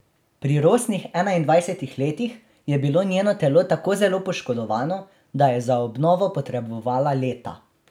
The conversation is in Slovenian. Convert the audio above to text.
Pri rosnih enaindvajsetih letih je bilo njeno telo tako zelo poškodovano, da je za obnovo potrebovala leta.